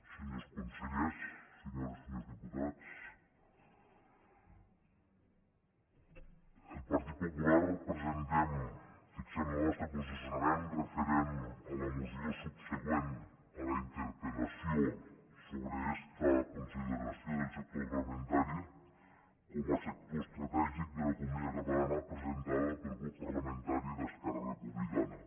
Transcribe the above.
senyors consellers senyores i senyors diputats el partit popular presentem fixem lo nostre posicionament referent a la moció subsegüent a la interpel·lació sobre esta consideració del sector agroalimentari com a sector estratègic de l’economia catalana presentada pel grup parlamentari d’esquerra republicana